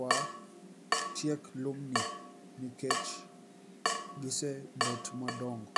watiek lumni nikech gisebet madong'o